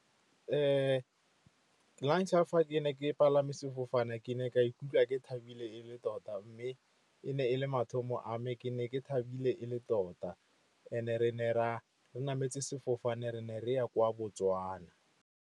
Lantlha fa ke ne ke palame sefofane ke ne ka ikutlwa ke thabile e le tota, mme e ne e le mathomo a me. Ke ne ke thabile e le tota, and-e re ne ra re nametse sefofane re ne re ya kwa Botswana.